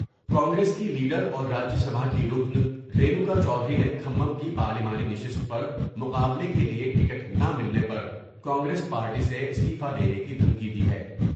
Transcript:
کانگریس کے لیڈر اور راجا سبھا کی رکن رینوکا چودھری نے کھممم کی پارلیمانی نشست پر مقابلہ کے لیے ٹکٹ نہ ملے پر کانگریس پارٹی سےاستعفی دینے کی دھمکی دی ہے ۔